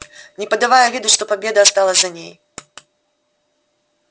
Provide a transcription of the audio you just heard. не подавая виду что победа осталась за ней